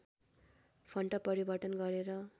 font परिवर्तन गरेर